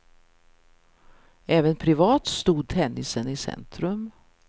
Även privat stod tennisen i centrum.